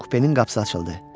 Kupenin qapısı açıldı.